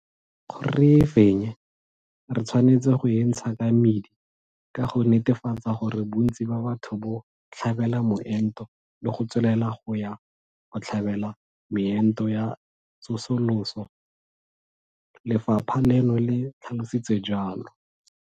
Gore re e fenye, re tshwanetse go e ntsha ka mmidi ka go netefatsa gore bontsi ba batho bo tlhabela moento le go tswelela go ya go tlhabela meento ya tsosoloso, lefapha leno le tlhalositse jalo.